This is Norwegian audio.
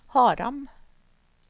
Haram